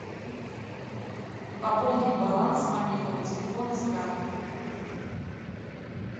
пополнить баланс мобильного телефона с карты